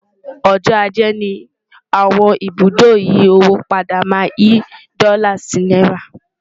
ọjọ ajé ní àwọn ibùdó ìyí owó padà má n yí dòla sí náírà